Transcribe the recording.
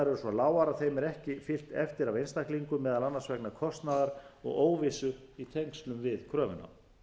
lágar að þeim er ekki fylgt eftir af einstaklingum meðal annars vegna kostnaðar og óvissu í tengslum við kröfuna